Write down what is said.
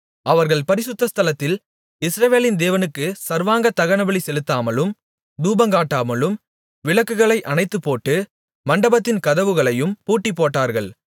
அவர்கள் பரிசுத்த ஸ்தலத்தில் இஸ்ரவேலின் தேவனுக்கு சர்வாங்க தகனபலி செலுத்தாமலும் தூபங்காட்டாமலும் விளக்குகளை அணைத்துப்போட்டு மண்டபத்தின் கதவுகளையும் பூட்டிப்போட்டார்கள்